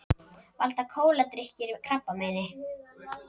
Valda kóladrykkir krabbameini